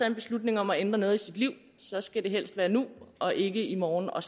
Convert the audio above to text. en beslutning om at ændre noget i sit liv så skal det helst være nu og ikke i morgen og